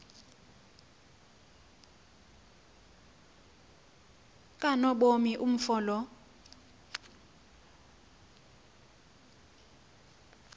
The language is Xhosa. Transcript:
kanobomi umfo lo